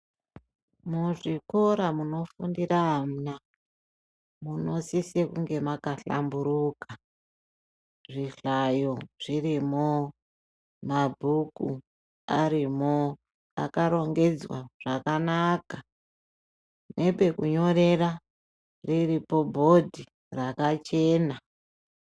Muzvikora munofundire ana, munosise kunge makahlamburuka ,zvihlayo zvirimo, mabhuku arimo, akarongedzwa zvakanaka, nepekunyorera riripo bhodhi rakachena.